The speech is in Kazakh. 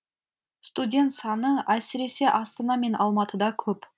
студент саны әсіресе астана мен алматыда көп